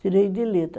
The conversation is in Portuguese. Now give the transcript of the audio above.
Tirei de letra.